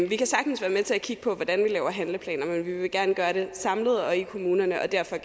vi kan sagtens være med til at kigge på hvordan vi laver handlingsplaner men vi vil gerne gøre det samlet og i kommunerne og derfor